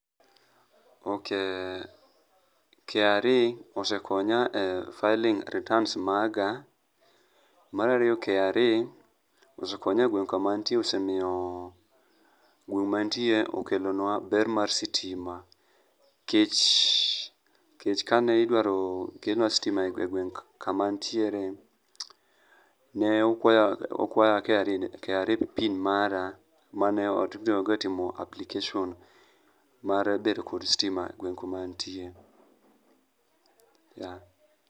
ok, kra osekonya e filing returns maga . marariyo kra osekonya e gweng kama antie osemiyo gweng maantie okelo nwa ber mar stima nikech kanidwar kelnwa stima e gweng kama antiere nokwaya kra pin mara manatiyo go e timo application mar bedo kod stima e gueng kuma antie.